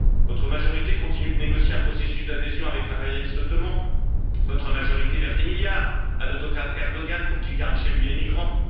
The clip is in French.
Votre majorité continue de négocier un processus d'adhésion avec l'impérialiste ottoman, votre majorité verse des milliards à l'autocrate Erdogan pour qu'il garde chez lui les migrants.